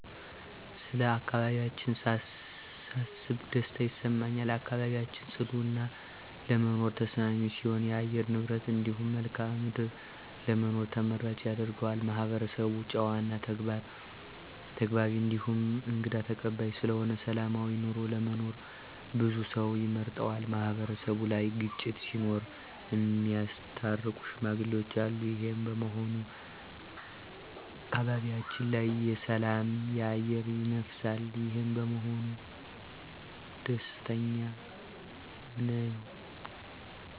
ስለ አካባቢያችን ሳስብ ደስታ ይሰማኛል። አካባቢያችን ፅዱ እና ለመኖር ተስማሚ ሲሆን የአየር ንብረቱ እንዲሁም መልክአ ምድሩ ለመኖር ተመራጭ ያደርገዋል። ማህበረሰቡ ጨዋ እና ተግባቢ እንዲሁም እንግዳ ተቀባይ ስለሆነ ሰላማዊ ኑሮ ለመኖር ብዙ ሰው ይመርጠዋል። ማህበረሰቡ ላይ ግጭት ሲኖር እሚያስታርቁ ሽማግሌዎች አሉ። ይሄም በመሆኑ በአካባቢው ላይ የሰላም አየር ይነፍሳል። ይሄ በመሆኑም ደስተኛ ነኝ።